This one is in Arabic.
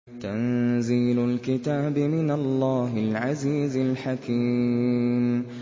تَنزِيلُ الْكِتَابِ مِنَ اللَّهِ الْعَزِيزِ الْحَكِيمِ